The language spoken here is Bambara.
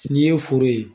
N'i ye foro ye